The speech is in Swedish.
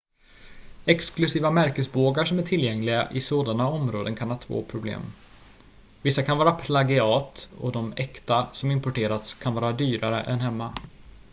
exklusiva märkesbågar som är tillgängliga i sådana områden kan ha två problem vissa kan vara plagiat och de äkta som importerats kan vara dyrare än hemma